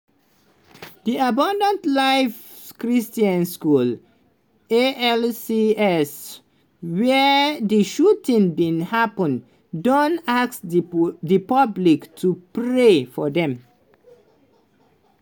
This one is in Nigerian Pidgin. di abundant life christian school (alcs) wia di shooting bin happun don ask di public to pray for dem.